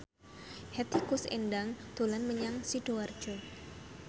Hetty Koes Endang dolan menyang Sidoarjo